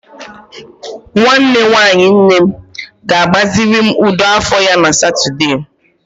Nwanne nwanyi nne m ga-agbaziri m ụdọ afọ ya na Satọde.